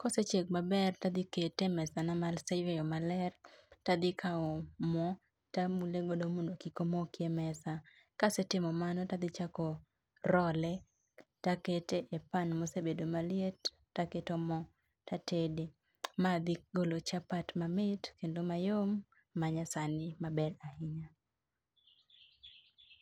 Kosechiek maber tadhikete e mesana maseyweyo maler, tadhikaw moo tamulego mondo kik omokie e mesa. Kasetimo mano tadhichako roll e takete e pan mosebebdo maliet, taketo moo tatede. Ma dhigolo chapat mamit kendo mayom, ma nya sani maber ahinya